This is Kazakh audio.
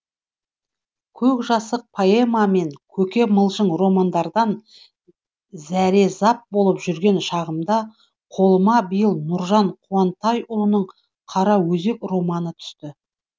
көкжасық поэма мен көке мылжың романдардан зәрезап болып жүрген шағымда қолыма биыл нұржан қуантайұлының қараөзек романы түсті